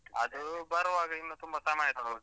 ಅದೂ ಬರ್ವಾಗ ಇನ್ನು ತುಂಬಾ ಸಮಯ .